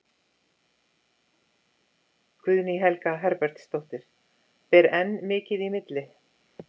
Guðný Helga Herbertsdóttir: Ber enn mikið í milli?